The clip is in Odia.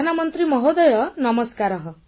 ପ୍ରଧାନମନ୍ତ୍ରୀ ମହୋଦୟ ନମସ୍କାରଃ